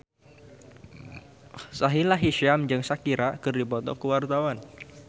Sahila Hisyam jeung Shakira keur dipoto ku wartawan